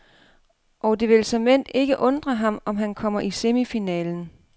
Og det vil såmænd ikke undre ham, om han kommer i semifinalen.